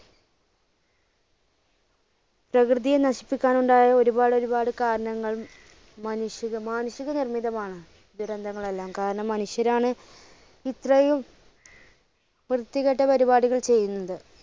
പ്രകൃതിയെ നശിപ്പിക്കാനുണ്ടായ ഒരുപാട് ഒരുപാട് കാരണങ്ങളും മനുഷ്യ~മാനുഷിക നിർമ്മിതമാണ് ദുരന്തങ്ങളെല്ലാം. കാരണം മനുഷ്യരാണ് ഇത്രയും വ്യത്തികെട്ട പരിപാടികൾ ചെയ്യുന്നുണ്ട്.